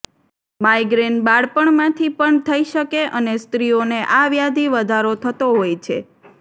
migraine બાળપણમાંથી પણ થઇ શકે અને સ્ત્રીઓને આ વ્યાધિ વધારો થતો હોય છે